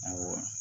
Awɔ